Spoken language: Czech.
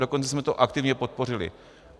Dokonce jsme to aktivně podpořili.